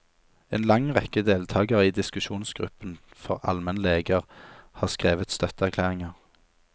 En lang rekke deltagere i diskusjonsgruppen for almenleger har skrevet støtteerklæringer.